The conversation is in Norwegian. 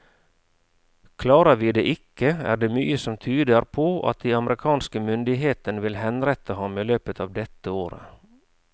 Klarer vi det ikke, er det mye som tyder på at de amerikanske myndighetene vil henrette ham i løpet av dette året.